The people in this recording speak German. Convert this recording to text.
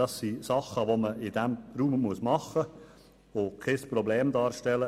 Dies sind Dinge, die in diesem Raum gemacht werden müssen und die kein Problem darstellen.